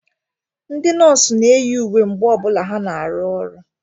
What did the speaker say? Ndị nọọsụ na-eyi uwe mgbe ọ bụla ha na-arụ ọrụ.